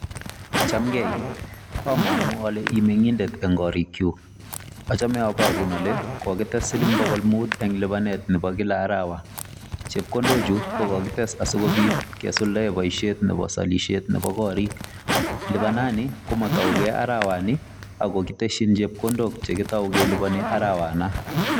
Chamngei? Amangu ale imengindet eng korikyuk? Achame abarun ale kogites siling bogol mut eng lipanet nebo kila arawa. Chepkondok chu kogites asigopit kesuldaen boisiet nebo salisiet nebo korik. Lipanani komatauge arawani, ago kitesyin chepkondok chegitau kelupani arawanon.